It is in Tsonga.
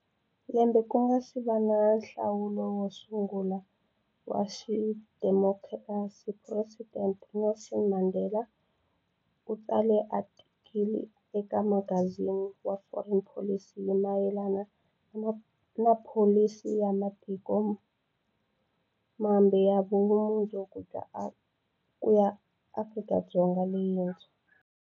Lembe ku nga si va na nhlawulo wo sungu la wa xidemokirasi, Phuresidente Nelson Mandela u tsale atikili eka magazini wa Foreign Policy hi mayelana na pholisi ya ma tiko mambe ya vumundzu ku ya Afrika-Dzonga leyintshwa.